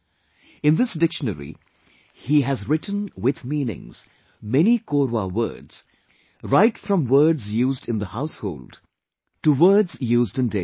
In this dictionary, he has written with meanings many Korwa words right from words used in the household to words used in daily life